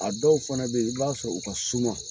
A dɔw fana be yen i b'a sɔrɔ, u ka suma